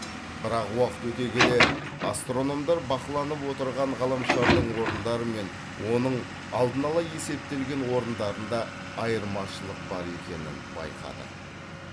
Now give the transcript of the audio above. бірақ уақыт өте келе астрономдар бақыланып отырған ғаламшардың орындары мен оның алдын ала есептелген орындарында айырмашылық бар екенін байқады